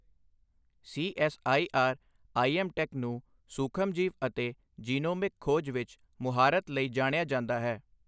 CSIR IMTech ਨੂੰ ਸੂਖਮਜੀਵ ਅਤੇ ਜੀਨੋਮਿਕ ਖੋਜ ਵਿੱਚ ਮੁਹਾਰਤ ਲਈ ਜਾਣਿਆ ਜਾਂਦਾ ਹੈ।